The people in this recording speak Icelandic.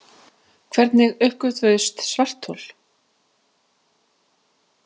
Hvernig uppgötvuðust svarthol?.